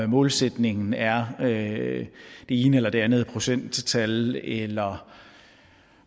målsætningen er det ene eller det andet procenttal eller